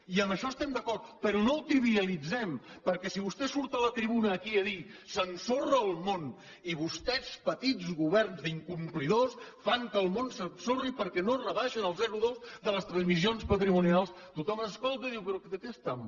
i en això estem d’acord però no ho trivialitzem perquè si vostè surt a la tribuna aquí a dir s’ensorra el món i vostès petits governs d’incomplidors fan que el món s’ensorri perquè no rebaixen el zero coma dos de les transmissions patrimonials tothom escolta i diu però de què estan parlant